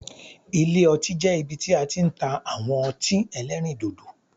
Ilé ọtí jẹ́ ibi tí a ti n ta àwọn otín elérìndòdò